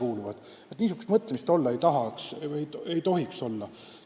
Vaat niisugust mõtlemist ei tohiks olla.